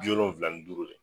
Bi wolonfila ni duuru